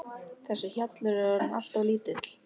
Þessi hjallur er orðinn allt of lítill.